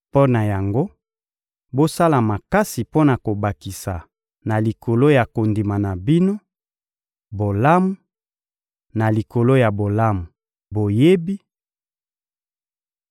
Mpo na yango, bosala makasi mpo na kobakisa na likolo ya kondima na bino, bolamu; na likolo ya bolamu, boyebi;